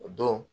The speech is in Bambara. O don